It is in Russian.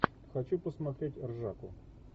хочу посмотреть ржаку